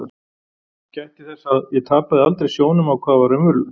Gætti þess að ég tapaði aldrei sjónum á hvað var raunverulegt.